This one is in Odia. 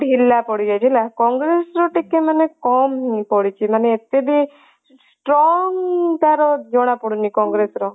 କଂଗ୍ରେସ ଟିକେ ଢିଲା ପଡି ଯାଉଛି ହେଲା କଂଗ୍ରେସ ର ଟିକେ ମାନେ କମ ହେଇ ପଡିଛି ମାନେ ଏତେ ବି strong ତାର ଜଣା ପଡୁନି ତାର କଂଗ୍ରେସ ର